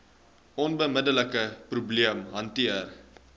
onmiddelike probleem hanteer